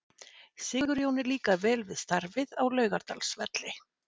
Sigurjóni líkar vel við starfið á Laugardalsvelli.